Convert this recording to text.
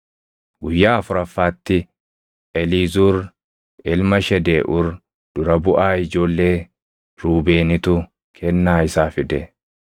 Guyyaa afuraffaatti Eliizuur ilma Shedeeʼuur dura buʼaa ijoollee Ruubeenitu kennaa isaa fide.